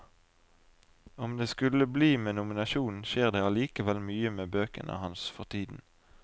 Om det skulle bli med nominasjonen, skjer det allikevel mye med bøkene hans for tiden.